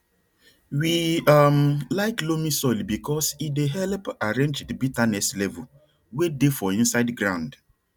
we um like loamy soil because e dey help arrange di betterness level way dey for inside ground